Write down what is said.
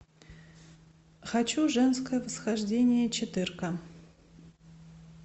хочу женское восхождение четырка